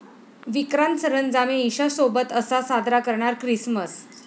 विक्रांत सरंजामे ईशासोबत 'असा' साजरा करणार ख्रिसमस